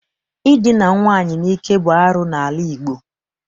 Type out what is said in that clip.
Idina nwaanyị n'ike bụ arụ n'ala Igbo.